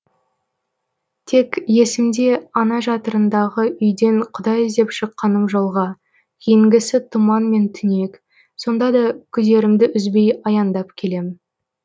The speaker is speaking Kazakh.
тек есімде ана жатырындағы үйден құдай іздеп шыққаным жолға кейінгісі тұман мен түнек сонда да күдерімді үзбей аяңдап келем